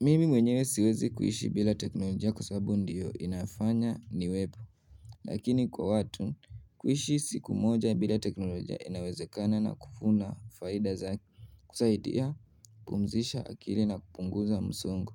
Mimi mwenyewe siwezi kuishi bila teknolojia kwa sababu ndiyo inafanya niwepo Lakini kwa watu, kuishi siku moja bila teknolojia inawezekana na kufuva faida za kusaidia kupumzisha akili na kupunguza msongo